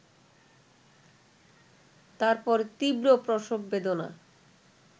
তারপর তীব্র প্রসব বেদনা